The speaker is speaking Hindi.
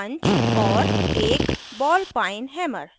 और एक बॉल पाइन हैमर